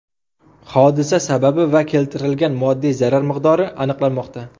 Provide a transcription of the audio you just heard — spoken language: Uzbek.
Hodisa sababi va keltirilgan moddiy zarar miqdori aniqlanmoqda.